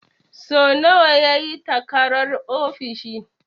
So nawa ya yi takarar ofishin?